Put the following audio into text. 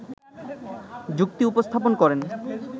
যুক্তি উপস্থাপন করেন